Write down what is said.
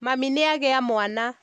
Mami nĩagĩa mwana